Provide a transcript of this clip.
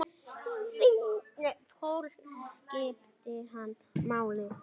Fólk skipti hana máli.